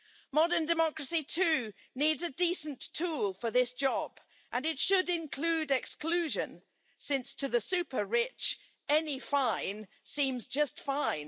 Modern democracy, too, needs a decent tool for this job, and it should include exclusion, since to the super rich any fine seems just fine.